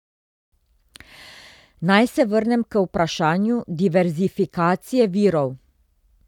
Naj se vrnem k vprašanju diverzifikacije virov.